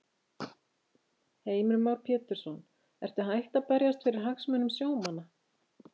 Heimir Már Pétursson: Ertu hætt að berjast fyrir hagsmunum sjómanna?